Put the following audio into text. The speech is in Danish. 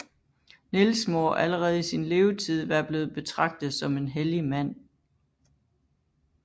Niels må allerede i sin levetid være blevet betragtet som en hellig mand